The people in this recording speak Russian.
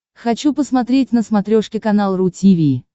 хочу посмотреть на смотрешке канал ру ти ви